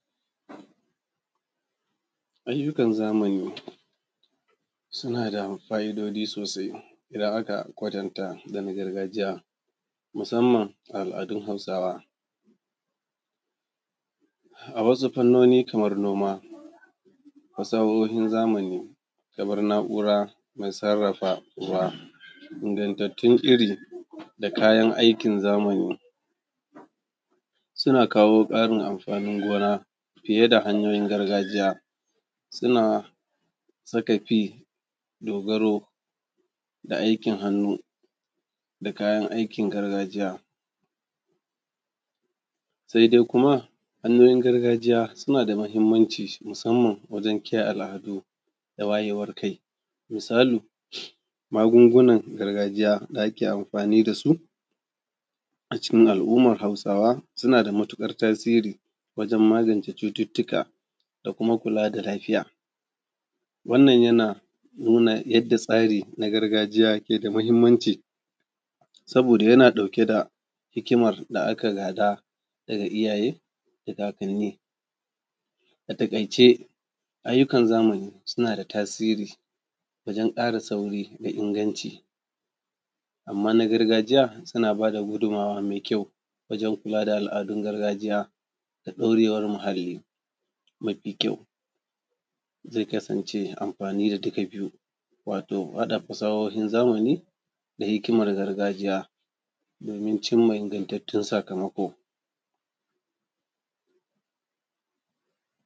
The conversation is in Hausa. Ayyukan zamani suna da fa'idoji sosai idan aka kwatanta da na gargajiya musamman al'adun Hausawaa. A wasu fannoni kamar noma, fasahohin zamani kamar na'ura mai sarrafa ruwa, ingantattun iri da kayan aikin zamani suna kawo ƙarin anfanin gona fiye da hanyoyin gargajiya. Suna suka fi dogaro da aikin hannu da kayan aikin gargajiya sede kuma, hanyoyin gargajiya suna da matuƙar mahimanci musamman wajen kiyaye al'adu da wayewar kai. Misali, magungunan gargajiya da ake anfani da su a cikin al’umar Hausawa suna da matuƙar tasiri wajen magance cututtuka da kuma kula da lafiya. Wannan, yana nuna yadda tsari na gargajiya ke da mahimmanci saboda yana ɗauke da hikimar da aka gada daga iyayee da kakanni. A taƙaice, ayyukan zamani suna da tasiri wajen ƙara sauri da inganci. Amma, na gargajiya suna ba da gudumawa me kyau wajen kula da al'adun gargajiya da ɗorewar muhalli. Mafi kyau, ze kasance anfani da dika biyu, wato haɗa fasahohin zamani da hikimar gargajiya domin cim ma ingantattun sakamako.